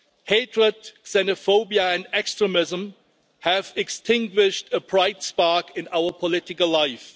Hatred, xenophobia and extremism have extinguished a bright spark in our political life.